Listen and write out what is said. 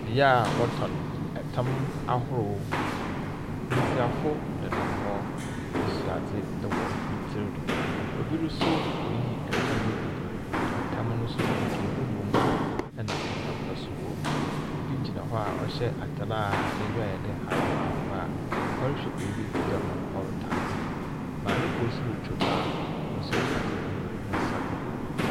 Bea a wɔtɔ ɛtam ahorow. Mbesiafo nenam hɔ, ebi soa adze wɔ ne tsir do. Obi nso reyi ɛtam no bi. ℇtam no nso kente wom ɛna ɛtam pa nso wom. Obi gyina hɔ a ɔhyɛ ataare a n’enyiwa ayɛ dɛ akokɔ angwa a ɔrehwɛ beebi te dɛ ma ɔretɔ ade. Maame kor retwam ade gu ne nsa do.